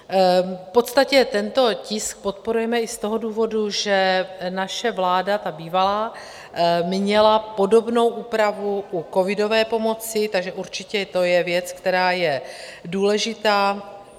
V podstatě tento tisk podporujeme i z toho důvodu, že naše vláda, ta bývalá, měla podobnou úpravu u covidové pomoci, takže určitě to je věc, která je důležitá.